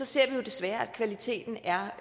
ser jo desværre at kvaliteten er